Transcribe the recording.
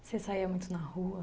Você saía muito na rua?